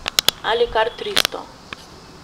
Ali kar tristo.